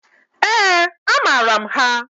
Eeǃ A maara m ha.